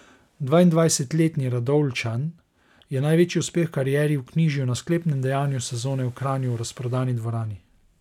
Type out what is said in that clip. Dvaindvajsetletni Radovljičan je največji uspeh v karieri vknjižil na sklepnem dejanju sezone v Kranju, v razprodani dvorani.